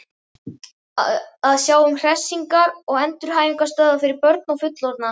Að sjá um hressingar- og endurhæfingarstöðvar fyrir börn og fullorðna.